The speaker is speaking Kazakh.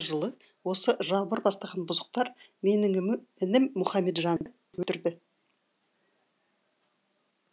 он алтыншы жылы осы жалбыр бастаған бұзықтар менің інім мұқамеджанды өлтірді